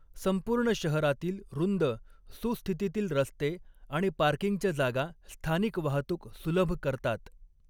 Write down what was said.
संपूर्ण शहरातील रुंद, सुस्थितीतील रस्ते आणि पार्किंगच्या जागा स्थानिक वाहतूक सुलभ करतात.